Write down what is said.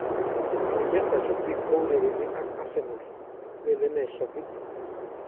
Manchester City kourereni ak Arsenal, lelene shabik.